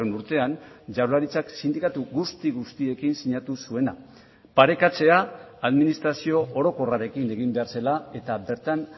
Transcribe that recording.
urtean jaurlaritzak sindikatu guzti guztiekin sinatu zuena parekatzea administrazio orokorrarekin egin behar zela eta bertan